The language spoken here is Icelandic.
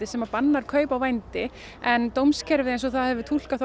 sem bannar kaup á vændi en dómskerfið eins og það hefur túlkað